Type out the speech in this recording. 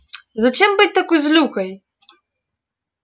зачем быть такой злюкой